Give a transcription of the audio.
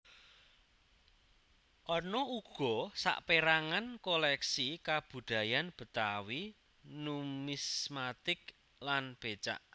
Ana uga sapérangan kolèksi kabudayan Betawi numismatik lan bécak